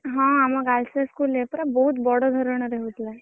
ହଁ ଆମ Girls High School ରେ ପରା ବହୁତ ବଡ ଧରଣର ହଉଥିଲା